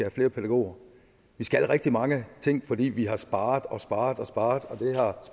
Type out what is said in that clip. og flere pædagoger vi skal rigtig mange ting fordi vi har sparet og sparet og sparet